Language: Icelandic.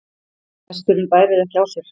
Hesturinn bærir ekki á sér.